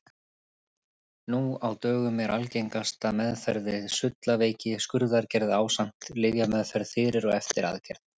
Nú á dögum er algengasta meðferð við sullaveiki skurðaðgerð ásamt lyfjameðferð fyrir og eftir aðgerð.